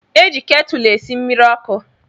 Eji ketúlú esi mmiri okú.